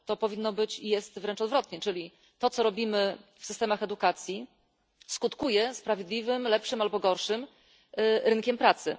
Powinno być i jest wręcz odwrotnie to, co robimy w systemach edukacji, skutkuje sprawiedliwym lepszym albo gorszym rynkiem pracy.